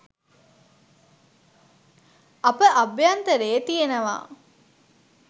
අප අභ්‍යන්තරයේ තියෙනවා.